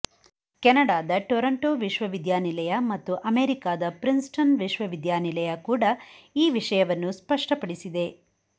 ಕೆನಡಾದ ಟೊರೊಂಟೊ ವಿಶ್ವವಿದ್ಯಾನಿಲಯ ಮತ್ತು ಅಮೆರಿಕಾದ ಪ್ರಿನ್ಸ್ಟನ್ ವಿಶ್ವವಿದ್ಯಾನಿಲಯ ಕೂಡ ಈ ವಿಷ್ಯವನ್ನು ಸ್ಪಷ್ಟಪಡಿಸಿದೆ